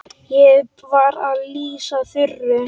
Ég var að lýsa Þuru.